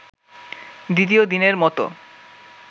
দ্বিতীয় দিনের মতো